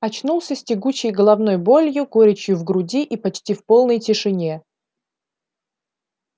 очнулся с тягучей головной болью горечью в груди и почти в полной тишине